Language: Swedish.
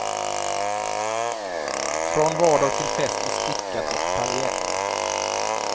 Från vardag till fest i stickat och paljett.